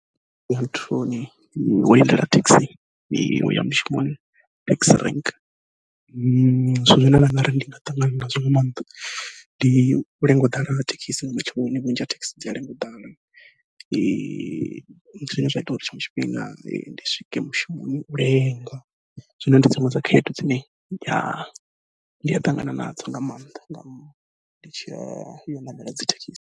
Wo lindela thekhisi uya mushumoni taxi rank, zwine nda nga ri ndi nga ṱangana nazwo nga maanḓa ndi u lenga u ḓala ha thekhisi nga matsheloni vhunzhi ha thekhisi dzi a lenga u ḓala, zwine zwa ita uri tshiṅwe tshifhinga ndi swike mushumoni u lenga. Zwino ndi dziṅwe dza khaedu dzine ndi ya ṱangana nadzo nga maanḓa nga ndi tshi ya u ṋamela dzi thekhisi.